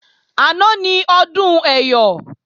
Àná ni Ọdún Ẹyọ̀